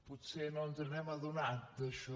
potser no ens hem adonat d’això